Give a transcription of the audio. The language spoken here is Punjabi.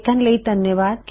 ਦੇਖਣ ਲਈ ਧੰਨਵਾਦ